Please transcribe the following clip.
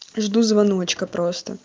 жду звоночка просто